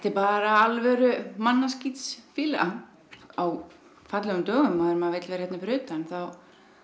bara alvöru mannaskítsfýla á fallegum dögum þegar maður vill vera hér fyrir utan þá